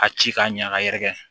A ci k'a ɲɛ a yɛrɛkɛ